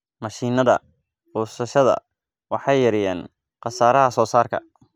Mashiinnada goosashada waxay yareeyaan khasaaraha soosaarka.